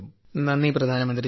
നന്ദി പ്രധാനമന്ത്രി ജി